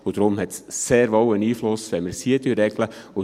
Deshalb hat es sehr wohl einen Einfluss, wenn wir es hier regeln.